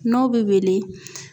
N'o be weele